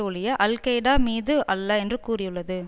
ஒழிய Al Qaeda மீது அல்ல என்று கூறியுள்ளது